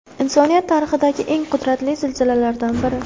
Insoniyat tarixidagi eng qudratli zilzilalardan biri.